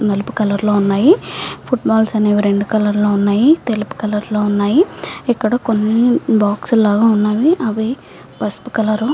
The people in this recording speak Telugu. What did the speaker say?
నలుపు కలర్ లో ఉన్నాయి. ఫుట్బాల్ల్స్ అనేవి రెండు కలర్లు ఉన్నాయి. తెలుపు కలర్ లో ఉన్నాయి. ఇక్కడ కొన్ని బాక్స్ లాగా ఉన్నవి. అవి పసుపు కలరు --